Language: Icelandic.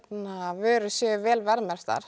vörur séu vel verðmerktar